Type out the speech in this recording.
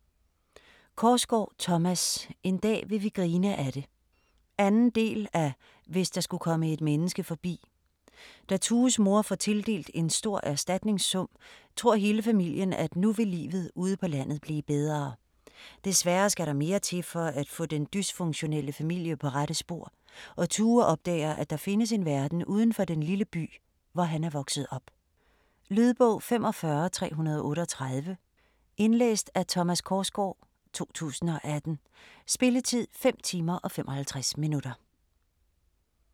Korsgaard, Thomas: En dag vil vi grine af det 2. del af Hvis der skulle komme et menneske forbi. Da Tues mor får tildelt en stor erstatningssum, tror hele familien af nu vil livet ude på landet blive bedre. Desværre skal der mere til for at få den dysfunktionelle familie på rette spor, og Tue opdager at der findes en verden udenfor den lille by hvor han er vokset op. Lydbog 45338 Indlæst af Thomas Korsgaard, 2018. Spilletid: 5 timer, 55 minutter.